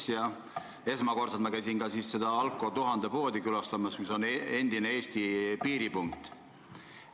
Siis käisin ma esimest korda tolles Alko1000 poes, mis on endine Eesti piiripunkt.